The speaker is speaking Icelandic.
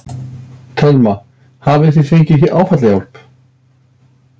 Telma: Hafið þið fengið áfallahjálp?